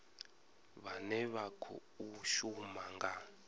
vhane vha khou shuma nga